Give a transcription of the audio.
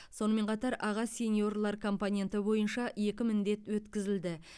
сонымен қатар аға сеньорлар компоненті бойынша екі міндет өткізілді